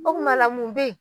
O kuma la mun bɛ yen.